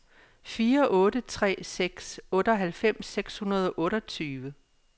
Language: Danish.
fire otte tre seks otteoghalvfems seks hundrede og otteogtyve